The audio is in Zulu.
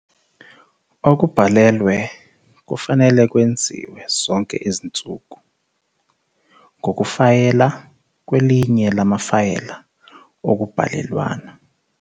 Okubhalelwe kufanele kwenziwe zonke izinsuku ngokukufayela kwelinye lamafayela okubhalelwana.